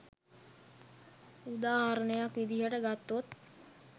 උදාහරණයක් විදිහට ගත්තොත්